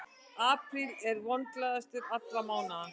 Apríl er vonglaðastur allra mánaða.